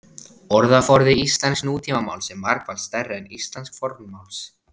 orðaforði íslensks nútímamáls er margfalt stærri en íslensks fornmáls